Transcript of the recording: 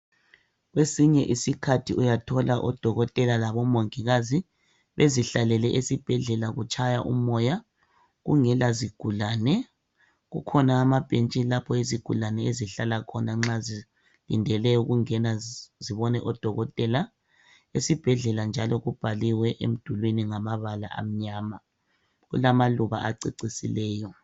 Kwesinye isikhathi uyathola odokotela labomongikazi bezihlalele esibhedlela kutshaya umoya kungela zigulane kukhona amabhetshi lapho izigulane ezihlala khona nxa zilindele ukungena zibone odokotela esibhedlela njalo kubhaliwe emdulwini ngamabala amnyama kulamaluba ececisileyo.